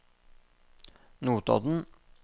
Notodden